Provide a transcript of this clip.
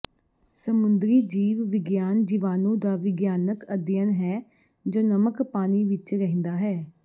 ਸਮੁੰਦਰੀ ਜੀਵ ਵਿਗਿਆਨ ਜੀਵਾਣੂ ਦਾ ਵਿਗਿਆਨਿਕ ਅਧਿਐਨ ਹੈ ਜੋ ਨਮਕ ਪਾਣੀ ਵਿਚ ਰਹਿੰਦਾ ਹੈ